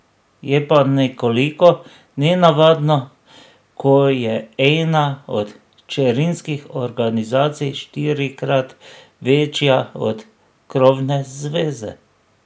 Je pa nekoliko nenavadno, ko je ena od hčerinskih organizacij štirikrat večja od krovne zveze.